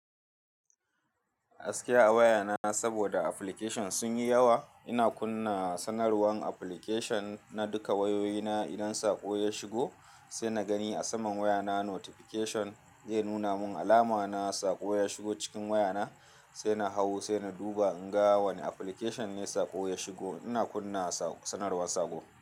Gaskiya a wayana saboda application sun yi yawa. Ina kunna sanarwan application na duka wayoyina. Idan saƙo ya shigo sai na gani a saman wayana notification ya nuna mun alama na saƙo ya shigo cikin wayana, sai na hau sai na duba in ga wane application ne saƙo ya shigo. Ina kunna sanarwan saƙo.